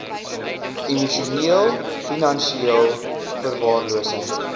emosioneel finansieel verwaarlosing